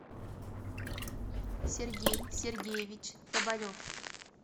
сергей сергеевич тоболев